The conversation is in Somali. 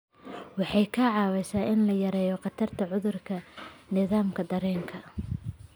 Waxay kaa caawinaysaa in la yareeyo khatarta cudurrada nidaamka dareenka.